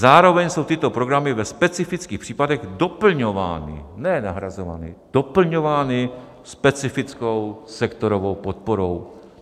Zároveň jsou tyto programy ve specifických případech doplňovány - ne nahrazovány, doplňovány - specifickou sektorovou podporou.